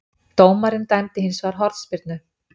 Dómarinn dæmdi hins vegar hornspyrnu